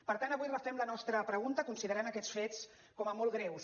per tant avui refem la nostra pregunta considerant aquests fets com a molt greus